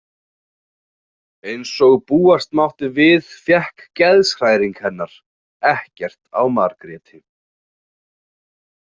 Eins og búast mátti við fékk geðshræring hennar ekkert á Margréti.